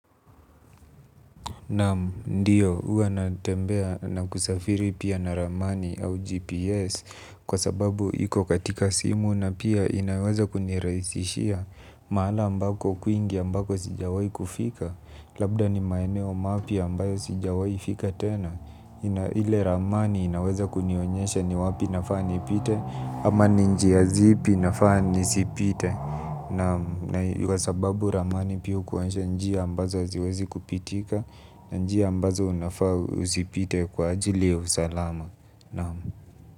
Namu, ndiyo, hua natembea na kusafiri pia na ramani au GPS kwa sababu iko katika simu na pia inaweza kuniraisishia maala ambako kwingi ambako sijawai kufika, labda ni maeneo mapya ambayo sijawai fika tena. Ile ramani inaweza kunionyesha ni wapi nafaa ni pite. Ama ninjia zipi nafani sipite. Naam yu kwasababu ramani pia hukuonyesha njia ambazo haziwezi kupitika. Na njia ambazo unafaa usipite kwa ajili ya usalama naam.